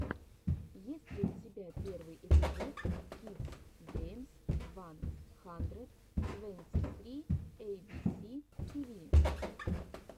есть ли у тебя первый эпизод кидс геймс ван хандрэд твэнти сри эйбиси тиви